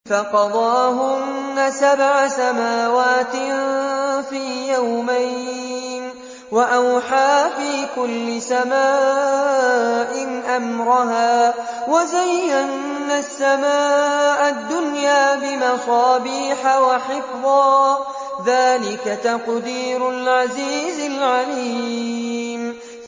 فَقَضَاهُنَّ سَبْعَ سَمَاوَاتٍ فِي يَوْمَيْنِ وَأَوْحَىٰ فِي كُلِّ سَمَاءٍ أَمْرَهَا ۚ وَزَيَّنَّا السَّمَاءَ الدُّنْيَا بِمَصَابِيحَ وَحِفْظًا ۚ ذَٰلِكَ تَقْدِيرُ الْعَزِيزِ الْعَلِيمِ